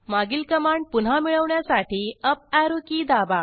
मागील कमांड पुन्हा मिळवण्यासाठी अप ऍरो की दाबा